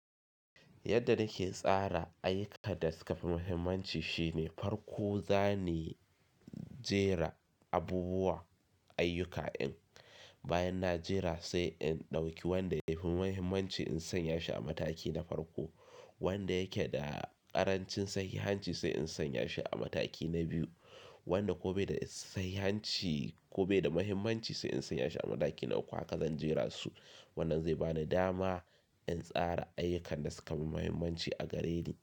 Yadda nake tsara ayyukan da suka fi muhimmanci shine farko zanayi jera abubuwa ayyuka din. Bayan na jera sai in ɗauki wanda ya fi mahimmanci in sanya shi a mataki na farko, wanda yake da ƙarancin sahihanci sai in sanya shi a mataki na biyu, wanda ko bai da sahihanci ko bai da muhimmanci sai in sanya shi a mataki na uku haka zan jera su. Wannan zai bani dama in tsara ayyukan da suka fi muhimmanci a gare ni.